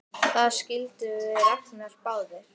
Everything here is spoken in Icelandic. Það skildum við Ragnar báðir!